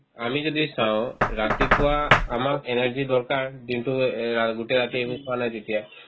আমি যদি চাও ৰাতিপুৱা আমাক energy ৰ দৰকাৰ দিনটো এহ্ এই ৰা গোটেই ৰাতি খোৱা নাই যেতিয়া